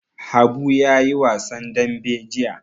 Habu ya yi wasan dambe jiya.